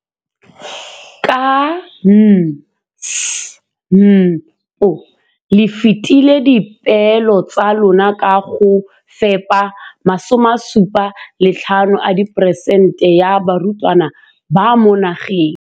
Ka NSNP le fetile dipeelo tsa lona tsa go fepa masome a supa le botlhano a diperesente ya barutwana ba mo nageng.